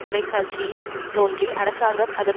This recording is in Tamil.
தொலைக்காட்சியில் தோன்றி அரசாங்கம் அதன்